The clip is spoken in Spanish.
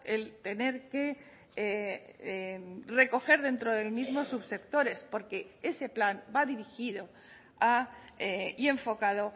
el tener que recoger dentro del mismo subsectores porque ese plan va dirigido a y enfocado